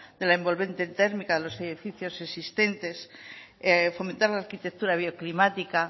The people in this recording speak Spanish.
de la envolvente térmica en los edificios existentes fomentar la arquitectura bioclimática